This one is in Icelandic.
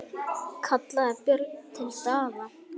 kallaði Björn til Daða.